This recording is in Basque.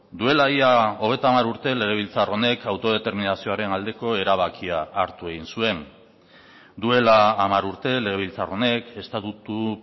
duela ia hogeita hamar urte legebiltzar honek autodeterminazioaren aldeko erabakia hartu egin zuen duela hamar urte legebiltzar honek estatutu